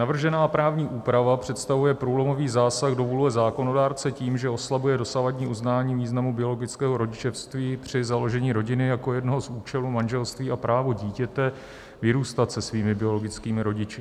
"Navržená právní úprava představuje průlomový zásah do vůle zákonodárce tím, že oslabuje dosavadní uznání významu biologického rodičovství při založení rodiny jako jednoho z účelu manželství a právo dítěte vyrůstat se svými biologickými rodiči.